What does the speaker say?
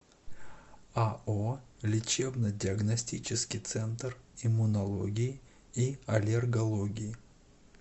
ао лечебно диагностический центр иммунологии и аллергологии